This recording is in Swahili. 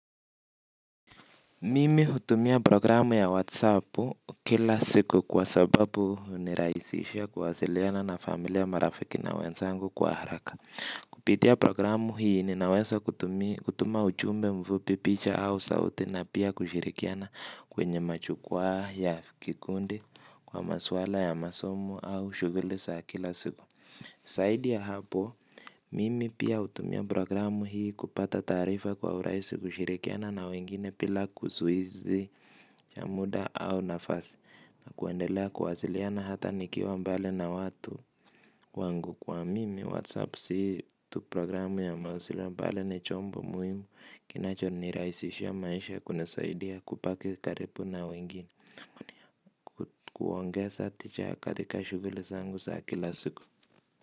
Mimi hutumia programu ya whatsap kila siku kwa sababu uniraisisha kuwasiliana na familia marafiki na wenzangu kwa haraka. Kupitia programu hii ninaweza kutuma ujumbe mvupi picha au sauti na pia kushirikiana kwenye majukwaa ya kikundi kwa maswala ya masomo au shughuli za kila siku. Zaidi ya hapo, mimi pia hutumia programu hii kupata taarifa kwa uraisi kushirikiana na wengine bila kusuizi cha muda au nafasi na kuendelea kuwasiliana hata nikiwa mbali na watu wangu kwa mimi Whatsapp si tu programu ya mawasili bali ni chombo muhimu kinachonirahisishia maisha kuna zaidi ya kubaki karibu na wengine. Kuongeza tija katika shuguli zangu za kila siku.